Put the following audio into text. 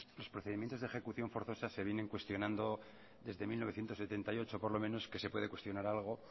los procedimientos de ejecución forzosa se vienen cuestionando desde mil novecientos setenta y ocho por lo menos que se puede cuestionar algo